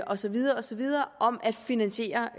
og så videre og så videre om at finansiere